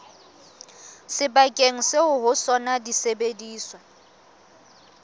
sebakeng seo ho sona disebediswa